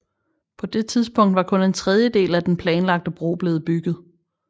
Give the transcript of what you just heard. På det tidspunkt var kun en tredjedel af den planlagte bro blevet bygget